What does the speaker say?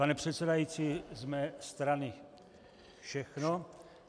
Pane předsedající, z mé strany všechno.